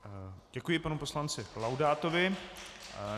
Děkuji panu poslanci Laudátovi.